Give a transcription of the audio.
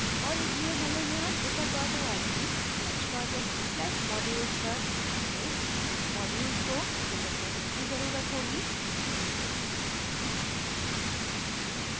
और इसलिए हमें यहाँ drupal org/project/modules पर अपने modules को filter करने की जरूरत होगी